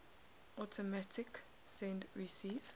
automatic send receive